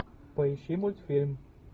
поищи мультфильм